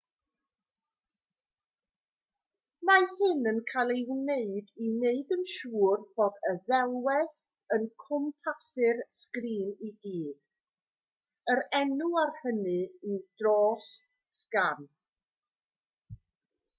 mae hyn yn cael ei wneud i wneud yn siwr bod y ddelwedd yn cwmpasu'r sgrin i gyd yr enw ar hynny yw dros-sgan